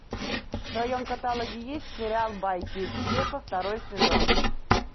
в твоем каталоге есть сериал байки из склепа второй сезон